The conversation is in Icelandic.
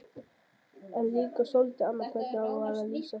En líka soldið annað hvernig á að lýsa því